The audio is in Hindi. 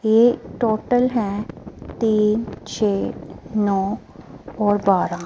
ये टोटल है तीन छे नौ और बारा।